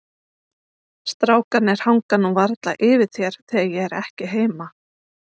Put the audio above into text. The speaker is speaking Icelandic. Strákarnir hanga nú varla yfir þér þegar ég er ekki heima.